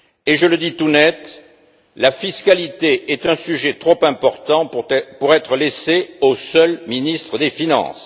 Je le dis tout net, la fiscalité est un sujet trop important pour être laissée aux seuls ministres des finances.